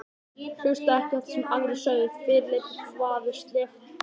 Hlustaði ekki eftir því sem aðrir sögðu, fyrirleit þvaður, slefbera.